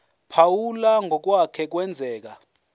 phawula ngokwake kwenzeka